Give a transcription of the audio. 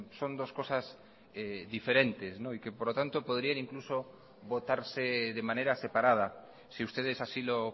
son dos cosas diferentes y que por lo tanto podrían incluso votarse de manera separada si ustedes así lo